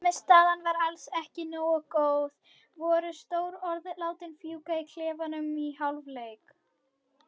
Frammistaðan var alls ekki nógu góð Voru stór orð látin fjúka í klefanum í hálfleik?